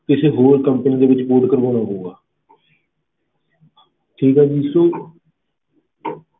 ਕਿਸੇ ਹੋਰ company ਦੇ ਵਿੱਚ port ਕਰਵਾਉਣਾ ਪਊਗਾ ਠੀਕ ਆ ਜੀ sir